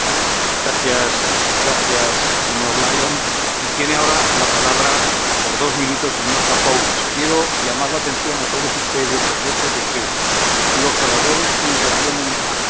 Quiero llamar la atención a todos ustedes sobre el hecho de que los oradores que intervienen hasta ahora, incluido el señor Capoulas Santos, son autores de la primera pregunta que estamos debatiendo, y